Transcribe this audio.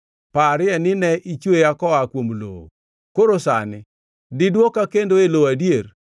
Parie ni ne ichweya koa kuom lowo. Koro sani, diduoka kendo e lowo adier?